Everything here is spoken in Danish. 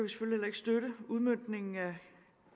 støtte udmøntningen af